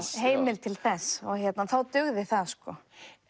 heimild til þess þá dugði það sko